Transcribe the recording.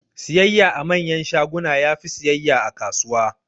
Siyayya a manyan shaguna yafi siyayya a kasuwa